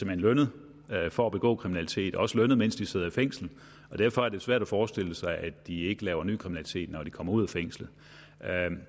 hen lønnet for at begå kriminalitet også lønnet mens de sidder i fængsel derfor er det svært at forestille sig at de ikke laver ny kriminalitet når de kommer ud af fængslet